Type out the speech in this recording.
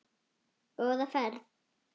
Góða ferð,